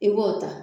I b'o ta